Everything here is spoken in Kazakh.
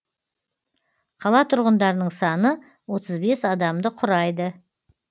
қала тұрғындарының саны отыз бес адамды құрайды